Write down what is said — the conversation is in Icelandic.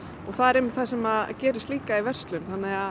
það er einmitt það sem gerist líka í verslun